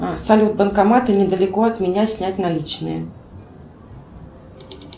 салют банкоматы недалеко от меня снять наличные